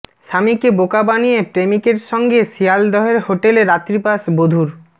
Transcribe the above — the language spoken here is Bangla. স্বামীকে বোকা বানিয়ে প্রেমিকের সঙ্গে শিয়ালদহের হোটেলে রাত্রিবাস বধূর